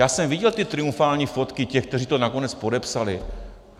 Já jsem viděl ty triumfální fotky těch, kteří to nakonec podepsali.